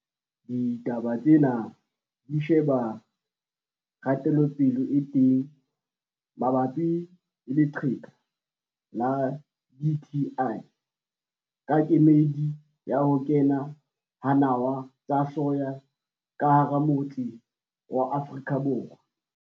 DITABA TSENA DI SHEBA KGATELOPELE E TENG MABAPI LE LEQHEKA LA DTI KA KEMEDI YA HO KENA HA NAWA TSA SOYA KA HARA AFRIKA BORWA.